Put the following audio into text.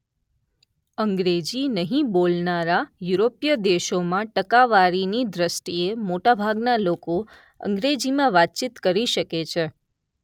અંગ્રેજી નહીં બોલનારા યુરોપીય દેશોમાં ટકાવારીની દૃષ્ટિએ મોટાભાગના લોકો અંગ્રેજીમાં વાતચીત કરી શકે છે.